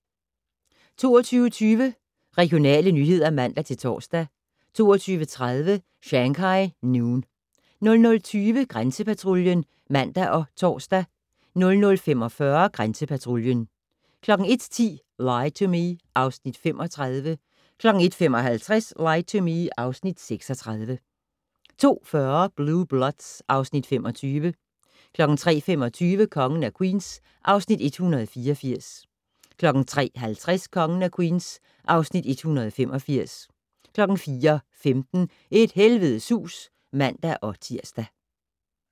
22:20: Regionale nyheder (man-tor) 22:30: Shanghai Noon 00:20: Grænsepatruljen (man og tor) 00:45: Grænsepatruljen 01:10: Lie to Me (Afs. 35) 01:55: Lie to Me (Afs. 36) 02:40: Blue Bloods (Afs. 25) 03:25: Kongen af Queens (Afs. 184) 03:50: Kongen af Queens (Afs. 185) 04:15: Et helvedes hus (man-tir)